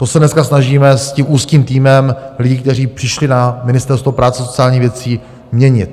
To se dneska snažíme s tím úzkým týmem lidí, kteří přišli na Ministerstvo práce a sociálních věcí, měnit.